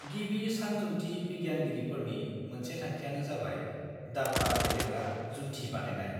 गिबि सानजुन्थि बिगियानगिरिफोरनि मोनसे थांखिआनो जाबाय दाब्बा गेलेग्रा जुन्थि बानायनाय।